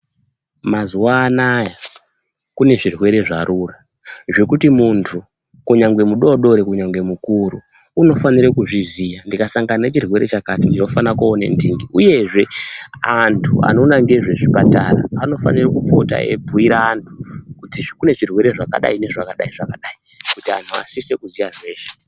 Mazuwa anaya kunezvirwere zvarura zvokuti muntu kunyangwe mudodori kunyangwe mukuru anofaniye kuzviziya ndingasangane nechirwere chakati ndinofanirwa koona ntingi. Uyezve antu anoona ngezvezvi patara anofana kupota eibhuira antu kuti kunezvirwere zvakadai nezvakadi zvakadi kuti antu asise kuziya zveshe.